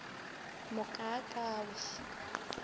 mokakawe